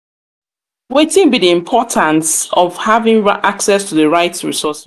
wetin be di importance of having access to di right